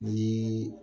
Ni